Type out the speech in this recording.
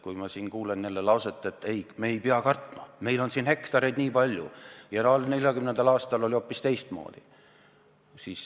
Kui ma siin kuulen jälle lauset, et me ei pea kartma, meil siin on hektareid nii palju, 1940. aastal oli hoopis teistmoodi.